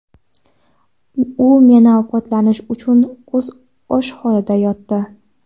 U meni ovqatlantirish uchun o‘zi och holda yotdi.